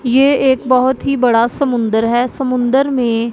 ये एक बहुत ही बड़ा समुंदर है समुंदर में--